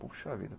Puxa vida.